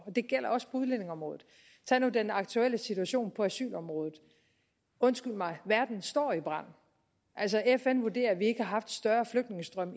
det gælder også på udlændingeområdet tag nu den aktuelle situation på asylområdet undskyld mig verden står i brand fn vurderer at vi ikke har haft større flygtningestrømme